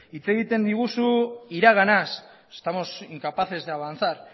hitz egiten diguzu iraganaz estamos incapaces de avanzar